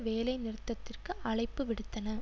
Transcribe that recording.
வேலை நிறுத்தத்திற்கு அழைப்பு விடுத்தன